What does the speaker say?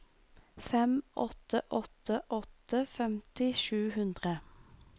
fem åtte åtte åtte femti sju hundre